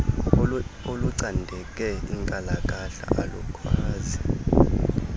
olucandeke inkalakahla alukwazi